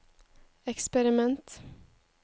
eksperiment